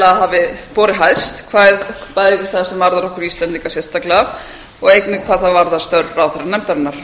ég tel að hafi borið hæst bæði það sem varðar okkur íslendinga sérstaklega og einnig hvað það varðar störf ráðherranefndarinnar